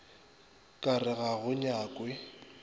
ka re ga go nyakwe